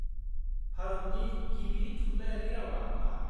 -भारतनि गिबि थुनलाइयारि रावआ मा?